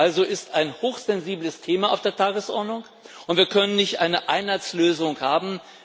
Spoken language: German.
Also ist ein hochsensibles Thema auf der Tagesordnung und wir können nicht eine Einheitslösung haben.